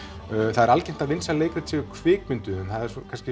það er algengt að vinsæl leikrit séu kvikmynduð en það er